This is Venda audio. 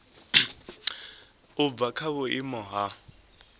u bva kha vhuimo ha